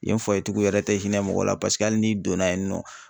Yen tigiw yɛrɛ tɛ hinɛ mɔgɔ la paseke hali n'i donna yen nɔ.